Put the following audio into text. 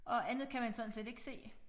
Og andet kan man sådan set ikke se